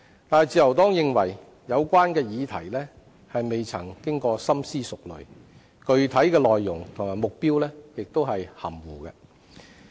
但自由黨認為有關議題未經深思熟慮，具體內容及目標亦含糊。